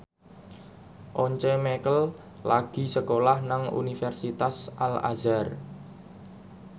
Once Mekel lagi sekolah nang Universitas Al Azhar